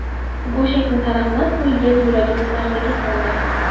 Go‘shakni taraqlab qo‘yilgani yuragimni larzaga soldi.